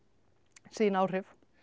sín áhrif